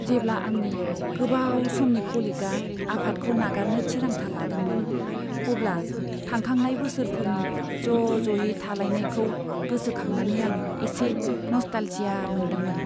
जेब्ला आंनि गोबाव समनि क'लिगआ आफादखौ नागारनो थिरांथा लादोंमोन, अब्ला थांखांनाय बोसोरफोरनि ज' ज'यै थालायनायखौ गोसोखांनानै आं एसे नस्टालजिया मोन्दोंमोन।